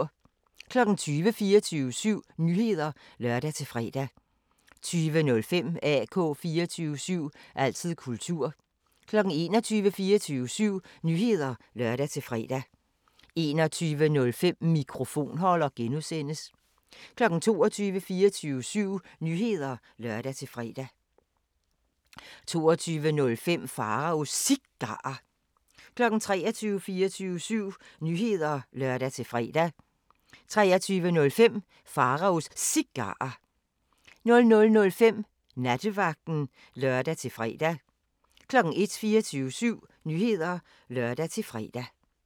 20:00: 24syv Nyheder (lør-fre) 20:05: AK 24syv – altid kultur 21:00: 24syv Nyheder (lør-fre) 21:05: Mikrofonholder (G) 22:00: 24syv Nyheder (lør-fre) 22:05: Pharaos Cigarer 23:00: 24syv Nyheder (lør-fre) 23:05: Pharaos Cigarer 00:05: Nattevagten (lør-fre) 01:00: 24syv Nyheder (lør-fre)